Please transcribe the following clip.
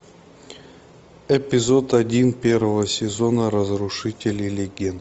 эпизод один первого сезона разрушители легенд